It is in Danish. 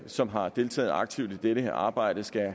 som har deltaget aktivt i dette arbejde skal